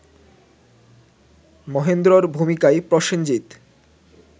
মহেন্দ্রর ভূমিকায় প্রসেনজিৎ